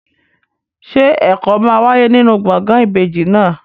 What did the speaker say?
Ṣé ẹ̀kọ́ máa wáyé nínú gbọ̀ngàn ìbejì náà?